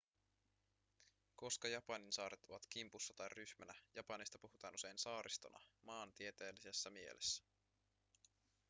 koska japanin saaret ovat kimpussa tai ryhmänä japanista puhutaan usein saaristona maantieteellisessä mielessä